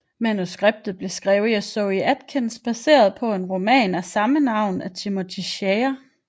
Manuskriptet blev skrevet af Zoë Akins baseret på en roman af samme navn af Timothy Shea